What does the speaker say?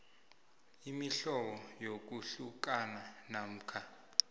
imihlobo yokuhlukana namkha